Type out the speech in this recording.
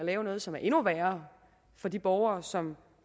lave noget som er endnu værre for de borgere som